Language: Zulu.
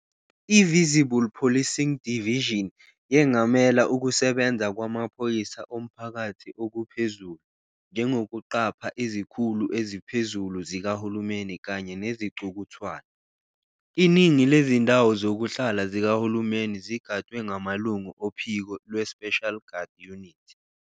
I- "Visible Policing Division" yengamela ukusebenza kwamaphoyisa omphakathi okuphezulu, njengokuqapha izikhulu eziphezulu zikahulumeni kanye nezicukuthwane. Iningi lezindawo zokuhlala zikahulumeni zigadwe ngamalungu ophiko "lweSpecial Guard Unit".